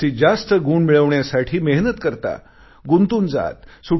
जास्तीत जास्त गुण मिळवण्यासाठी मेहनत करता गुंतून जाता